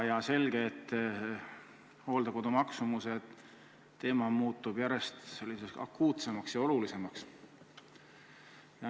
On selge, et hooldekodukoha maksumuse teema muutub järjest akuutsemaks ja olulisemaks.